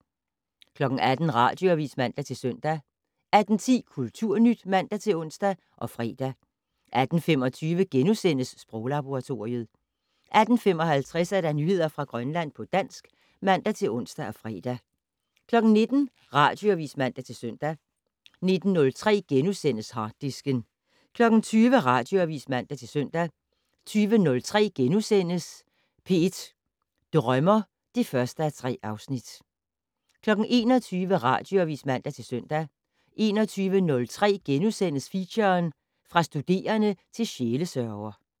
18:00: Radioavis (man-søn) 18:10: Kulturnyt (man-ons og fre) 18:25: Sproglaboratoriet * 18:55: Nyheder fra Grønland på dansk (man-ons og fre) 19:00: Radioavis (man-søn) 19:03: Harddisken * 20:00: Radioavis (man-søn) 20:03: P1 Drømmer (1:3)* 21:00: Radioavis (man-søn) 21:03: Feature: Fra studerende til sjælesørger *